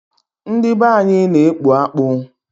Ndị be anyị na-ekpu akpu.